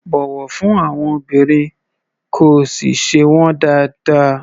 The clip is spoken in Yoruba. Bọ̀wọ̀ fún àwọn obìnrin, kí o sì ṣe wọ́n dáádáa.